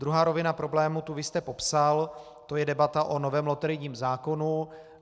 Druhá rovina problému, tu vy jste popsal, to je debata o novém loterijním zákonu.